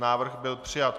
Návrh byl přijat.